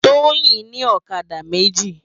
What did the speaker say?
Toyin ni òkadá méji